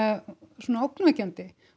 svona ógnvekjandi